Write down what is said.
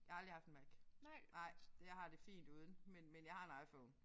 Jeg har aldrig haft en Mac nej det jeg har det fint uden men men jeg har en IPhone